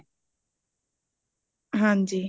ਹਾਂਜੀ